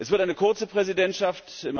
Es wird eine kurze Präsidentschaft.